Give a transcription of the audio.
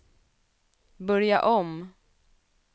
börja om